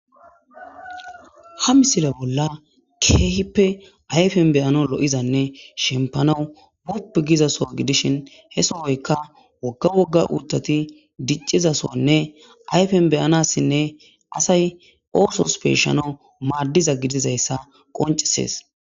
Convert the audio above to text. Ha misile bolla keehippe ayfen beyano lo'izanne shempanau wupp gizaso gidishin he sohoyka wogga wogga uuttati diccizasonne ayfen beyanassinne asay oosos peeshano maaddiza gidizayssa qoncesees.